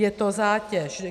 Je to zátěž.